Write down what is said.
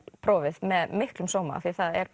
prófið með miklum sóma af því